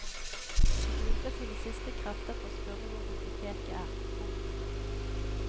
De bruker sine siste krefter på å spørre hvor biblioteket er. punktum